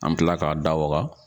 An mi kila k'a da waga